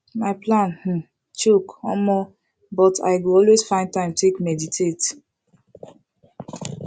my plan um choke omo but i go always find time to take meditate